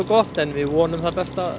gott en við vonum það besta